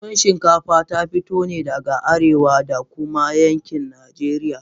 Tuwo chikafa ta fito ne daga arewa da kuma yankin Najeriya.